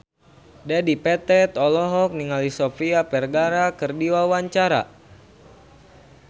Dedi Petet olohok ningali Sofia Vergara keur diwawancara